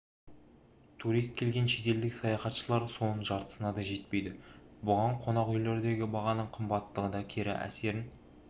турист келген шетелдік саяхатшылар соның жартысына да жетпейді бұған қонақүйлердегі бағаның қымбаттығы да кері әсерін